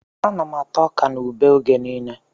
Ana m ata ọkà na ube oge niile